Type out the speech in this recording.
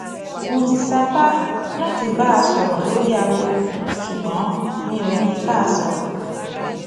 mo ti sapá láti bá a sọrọ lórí aago ṣùgbọn mi ò rí i bá sọrọ